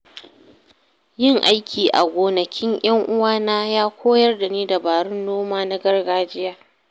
Yin aiki a gonakin ƴan uwana ya koyar da ni dabarun noma na gargajiya.